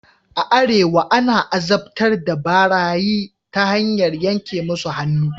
A arewa ana azabtar da barayi ta hanyar yanke musu hannu.